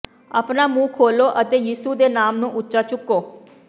ਆਪਣਾ ਮੂੰਹ ਖੋਲੋ ਅਤੇ ਯਿਸੂ ਦੇ ਨਾਮ ਨੂੰ ਉੱਚਾ ਚੁੱਕੋ